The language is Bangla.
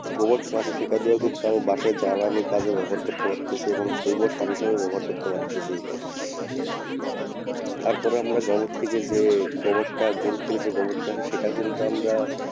গোবরটা আছে সেটা দিয়েও কিন্তু আমি বাসায় জ্বালানীর কাজে ব্যবহার করতে পারতাসি এবং জৈব সার হিসাবেও ব্যবহার করতে পারতেসি আমরা গোবর থেকে যে গোবরটা গরু থেকে যে গোবরটা আসে সেটা কিন্তু আমরা,